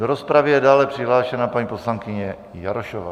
Do rozpravy je dále přihlášena paní poslankyně Jarošová.